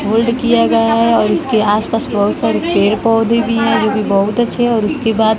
hold किया गया है और इसके आसपास बहुत सारे पेड़ पौधे भी हैं जो कि बहुत अच्छे और उसके बाद--